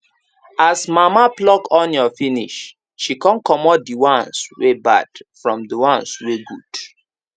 as mama pluck onions finish she con comot the ones wey bad from the ones wey good